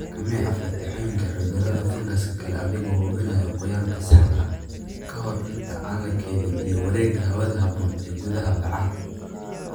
Xakamee Aflatoxin iyo cudurrada fangas kale adiga oo hubinaya qoyaanka saxda ah ka hor inta aan la keydin iyo wareegga hawada habboon ee gudaha bacaha.